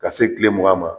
Ka se kile mugan ma